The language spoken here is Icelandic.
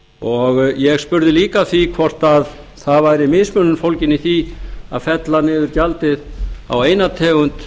stjórnarskrárinnar ég spurði líka að því hvort það væri mismunun fólgin í því að fella niður gjaldið á eina tegund